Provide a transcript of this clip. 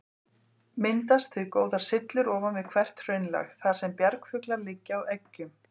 Myndast því góðar syllur ofan við hvert hraunlag, þar sem bjargfuglar liggja á eggjum.